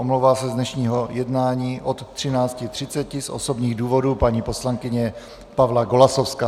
Omlouvá se z dnešního jednání od 13.30 z osobních důvodů paní poslankyně Pavla Golasowská.